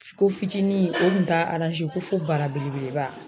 Ko fitinin o tun t'a ko fo bara belebeleba.